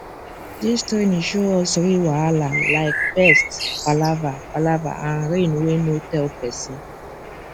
this training show us real wahala like pest palava palava and rain wey no tell person